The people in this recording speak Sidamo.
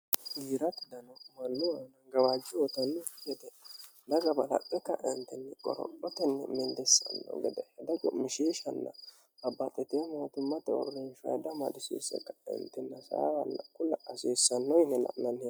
Giirate dano Manu aanna gawajjo uyitanoki gede daga balaxe kaentinni qorophotenni milisano gede hedo cu'mishiishanna babbaxitino motimmate uurinshuwa hedo amadisiise kaentinni hasaawanni kula hasiisano la'nanni hee'noonni.